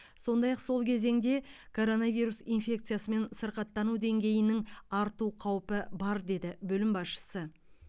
сондай ақ сол кезеңде коронавирус инфекциясымен сырқаттану деңгейінің арту қаупі бар деді бөлім басшысы